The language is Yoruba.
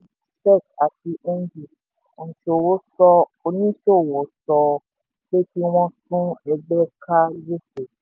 nínú lẹ́tà sí sec àti ng oníṣòwò sọ oníṣòwò sọ pé kí wọ́n tú ẹgbẹ́ ká gbèsè.